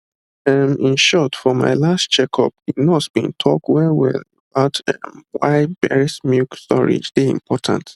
ehm in short for my last checkup the nurse been talk wellwell about um why breast milk storage dey important